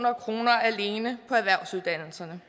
kroner alene på erhvervsuddannelserne